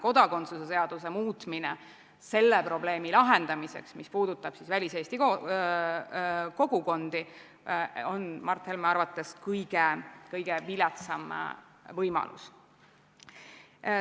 Kodakondsuse seaduse muutmine selle probleemi lahendamiseks, mis puudutab väliseesti kogukondi, on Mart Helme arvates kõige viletsam võimalus.